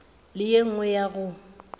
le ye nngwe ya go